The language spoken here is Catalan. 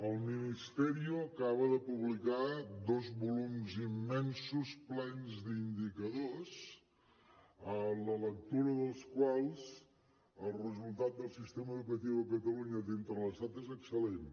el ministerio acaba de publicar dos volums immensos plens d’indicadors a la lectura dels quals el resultat del sistema educatiu a catalunya dins de l’estat és excel·lent